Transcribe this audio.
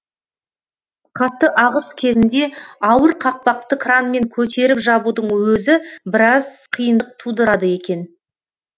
қатты ағыс кезінде ауыр қақпақты кранмен көтеріп жабудың өзі біраз қиындық тудырады екен